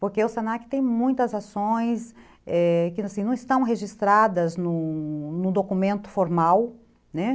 Porque o se na que tem muitas ações que não estão registradas num num documento formal, né?